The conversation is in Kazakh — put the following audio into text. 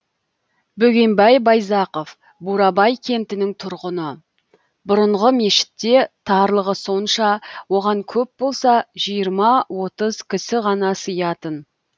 бөгенбай байзақов бурабай кентінің тұрғыны бұрынғы мешітте тарлығы сонша оған көп болса жиырма отыз кісі ғана сиятын